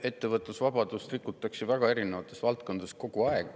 Ettevõtlusvabadust rikutakse väga erinevates valdkondades kogu aeg.